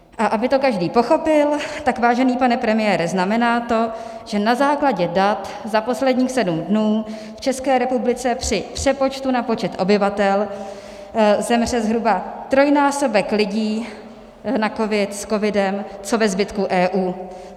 A aby to každý pochopil, tak vážený pane premiére, znamená to, že na základě dat za posledních sedm dnů v České republice při přepočtu na počet obyvatel zemře zhruba trojnásobek lidí na covid, s covidem, co ve zbytku EU.